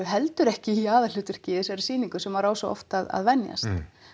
heldur ekki í aðalhlutverki í þessari sýningu sem maður á svo oft að venjast